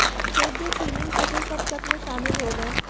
खेत जो सीलिंग के थे सब चक में शामिल हो गए